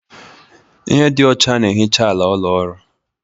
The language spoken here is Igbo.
Ihe dị ọcha na-ehicha ala ụlọ ọrụ